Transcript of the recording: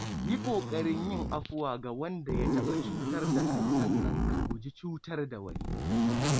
Yi ƙoƙarin yin afuwa ga wanda ya taɓa cutar da kai sannan ka guji cutar da wani.